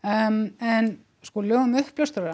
en en sko lög um uppljóstrara